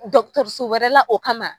Dɔgɔtɔrɔso wɛrɛ la o kama